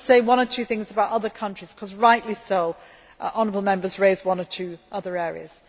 Let me just say one or two things about other countries because, rightly so, Honourable Members raised one or two other issues.